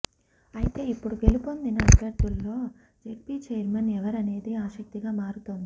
అయితే ఇప్పుడు గెలుపొందిన అభ్యర్థుల్లో జెడ్పీ చైర్మన్ ఎవరనేది ఆసక్తిగా మారుతోంది